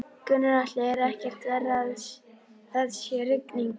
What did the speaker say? Gunnar Atli: Er ekkert verra að það sé rigning?